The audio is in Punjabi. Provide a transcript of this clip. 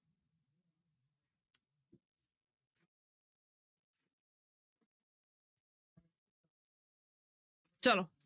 ਚਲੋ।